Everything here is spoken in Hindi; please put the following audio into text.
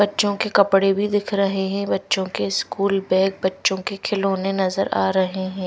बच्चों के कपड़े भी दिख रहे हैं बच्चों के स्कूल बैग बच्चों के खिलौने नजर आ रहे हैं।